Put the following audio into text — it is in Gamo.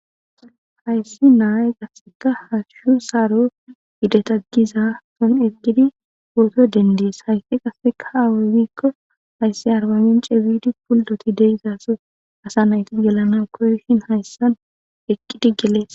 Hayssi naaye gasseka hashshu saaro idetagiza son eqqidi wooto dendies hayssi qasseka ha awaywikko hayssi arbamin ceyfidi puldoti deizaso asa nayti yelana koyshin hayssan eqqidi gelees.